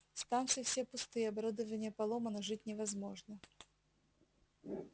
станции все пустые оборудование поломано жить невозможно